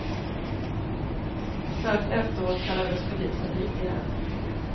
Strax efteråt kallades polisen dit igen.